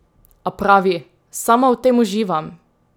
A pravi: "Sama v tem uživam.